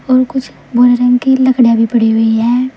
और कुछ भूरे रंग की लकड़ी भी पड़ी हुई है।